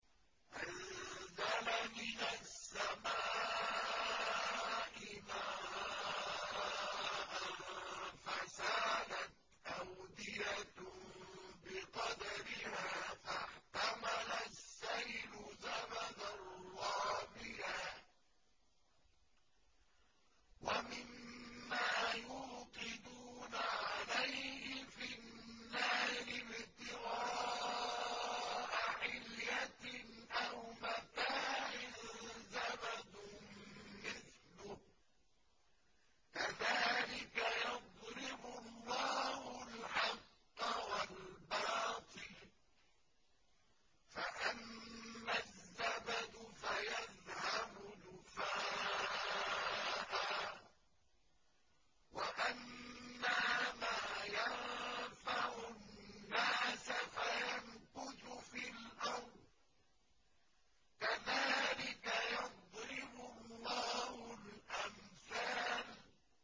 أَنزَلَ مِنَ السَّمَاءِ مَاءً فَسَالَتْ أَوْدِيَةٌ بِقَدَرِهَا فَاحْتَمَلَ السَّيْلُ زَبَدًا رَّابِيًا ۚ وَمِمَّا يُوقِدُونَ عَلَيْهِ فِي النَّارِ ابْتِغَاءَ حِلْيَةٍ أَوْ مَتَاعٍ زَبَدٌ مِّثْلُهُ ۚ كَذَٰلِكَ يَضْرِبُ اللَّهُ الْحَقَّ وَالْبَاطِلَ ۚ فَأَمَّا الزَّبَدُ فَيَذْهَبُ جُفَاءً ۖ وَأَمَّا مَا يَنفَعُ النَّاسَ فَيَمْكُثُ فِي الْأَرْضِ ۚ كَذَٰلِكَ يَضْرِبُ اللَّهُ الْأَمْثَالَ